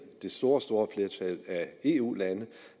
det store store flertal af eu landene